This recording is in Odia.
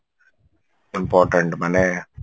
important ମାନେ